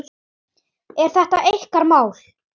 Er þetta ykkar mál?